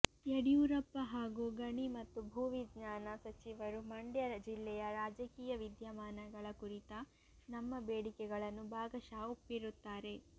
ಯಡಿಯೂರಪ್ಪ ಹಾಗೂ ಗಣಿ ಮತ್ತು ಭೂವಿಜ್ಞಾನ ಸಚಿವರು ಮಂಡ್ಯ ಜಿಲ್ಲೆಯ ರಾಜಕೀಯ ವಿದ್ಯಮಾನಗಳ ಕುರಿತ ನಮ್ಮ ಬೇಡಿಕೆಗಳನ್ನು ಭಾಗಶಃ ಒಪ್ಪಿರುತ್ತಾರೆ